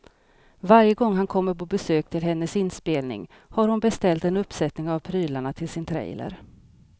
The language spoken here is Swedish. Varje gång han kommer på besök till hennes inspelning har hon beställt en uppsättning av prylarna till sin trailer.